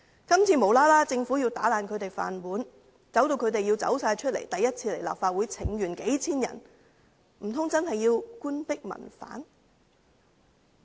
今次政府無故要打破他們的"飯碗"，迫使數千人首次前來立法會請願，難道真的要官逼民反？